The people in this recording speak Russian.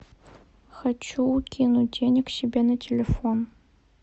хочу кинуть денег себе на телефон